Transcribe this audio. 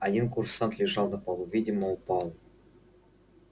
один курсант лежал на полу видимо упал